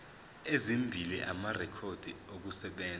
ezimbili amarekhodi okusebenza